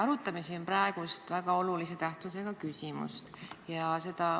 Arutame siin praegu väga olulise tähtsusega küsimust.